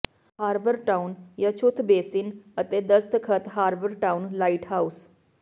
harbour town ਯੱਛੂਤ basin ਅਤੇ ਦਸਤਖਤ ਹਾਰਬਰ ਟਾਉਨ ਲਾਈਟਹਾਉਸ